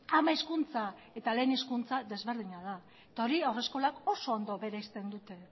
ama hizkuntza eta lehen hizkuntza desberdina da eta hori haurreskolak oso ondo bereizten dute